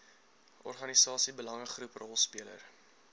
organisasie belangegroep rolspeler